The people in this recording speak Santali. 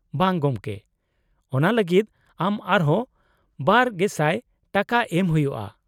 -ᱵᱟᱝ ᱜᱚᱢᱠᱮ ᱾ ᱚᱱᱟ ᱞᱟᱹᱜᱤᱫ ᱟᱢ ᱟᱨᱦᱚᱸ ᱒,᱐᱐᱐/ᱼ ᱴᱟᱠᱟ ᱮᱢ ᱦᱩᱭᱩᱜᱼᱟ ᱾